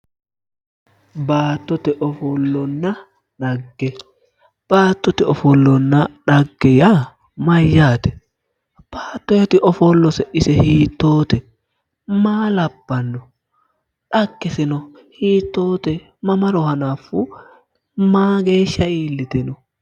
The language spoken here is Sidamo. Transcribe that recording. Baattote ofollonna dhagge, baattote ofollonna dhagge yaa mayate ,baattoti ofollose ise hiittote, maa labbano dhaggeseno hiittote, mamaro hanafu mageeshsha iillite no?